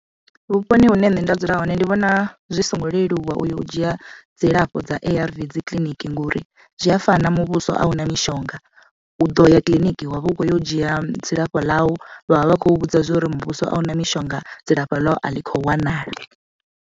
Vhuponi hune nṋe nda dzula hone ndi vhona zwi songo leluwa u yo u dzhia dzilafho dza A_R_V dzi kiḽiniki, ngori zwi a fana muvhuso awuna mishonga u ḓo ya kiḽiniki wavha u kho yo u dzhia dzilafho ḽau vhavha vha khou vhudza zwori muvhuso a una mishonga dzilafho ḽau a ḽi kho wanala.